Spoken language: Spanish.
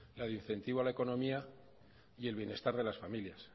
la de incentivo a la economía y el bienestar de las familias